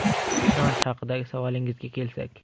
Ishonch haqidagi savolingizga kelsak.